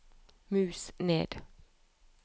mus ned